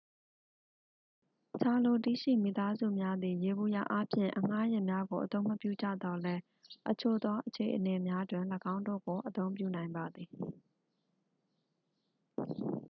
ချာလိုတီး ရှိမိသားစုများသည် ယေဘုယျအားဖြင့် အဌားယာဉ်များကိုအသုံးမပြုကြသော်လည်း အချို့သောအခြေအနေများတွင် ၎င်းတို့ကို အသုံးပြုနိုင်ပါသည်